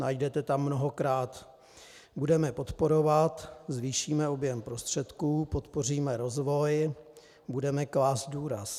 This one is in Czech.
Najdete tam mnohokrát: budeme podporovat, zvýšíme objem prostředků, podpoříme rozvoj, budeme klást důraz.